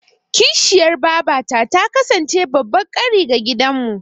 Kishiyar babata ta kasance babban ƙari ga danginmu.